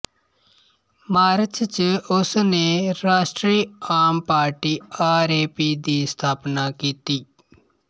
March ਚ ਉਸ ਨੇ ਰਾਸ਼ਟਰੀ ਆਮ ਪਾਰਟੀ ਆਰ ਏ ਪੀ ਦੀ ਸਥਾਪਨਾ ਕੀਤੀ